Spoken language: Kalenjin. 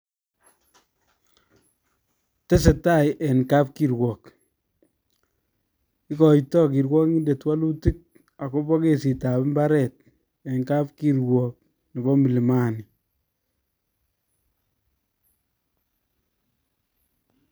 Tesetai en kapkirwok, ikotoi kirwokindet woluutik agobo kesitab mbaret en kapkirwok nebo milimani